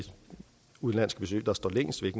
udenlandske besøg der står længst